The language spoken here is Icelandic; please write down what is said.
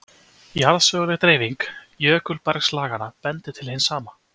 Jarðsöguleg dreifing jökulbergslaganna bendir til hins sama.